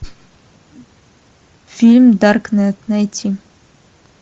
фильм даркнет найти